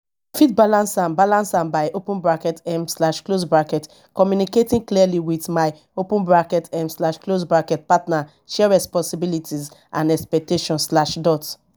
fit balance am balance am by open bracket um slash close bracket communicating clearly with my open bracket um slash close bracket partner share responsibilities and expectations slash dot